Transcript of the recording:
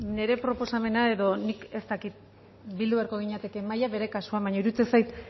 beno ba nire proposamena edo nik ez dakit bildu beharko ginatekeen mahaian bere kasuan baina iruditzen zait